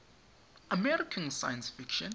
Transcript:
american science fiction